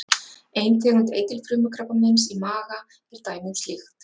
Ein tegund eitilfrumukrabbameins í maga er dæmi um slíkt.